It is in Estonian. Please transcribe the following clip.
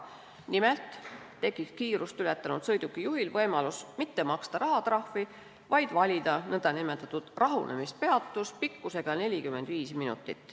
Nimelt tekib kiirust ületanud sõidukijuhil võimalus mitte maksta rahatrahvi, vaid valida nn rahunemispeatus pikkusega 45 minutit.